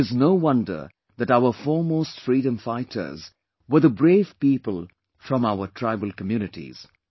There is no wonder that our foremost freedom fighters were the brave people from our tribal communities